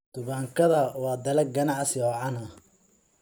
Tubaakada waa dalag ganacsi oo caan ah.